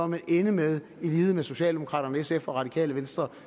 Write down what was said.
vil ende med i lighed med socialdemokraterne sf og radikale venstre